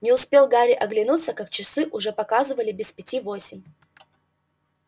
не успел гарри оглянуться как часы уже показывали без пяти восемь